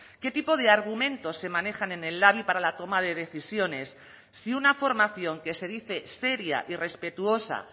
qué tipo de argumentos se manejan en el labi para la toma de decisiones si una formación que se dice seria y respetuosa